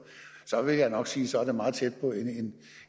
så vil jeg nok sige at så er det meget tæt på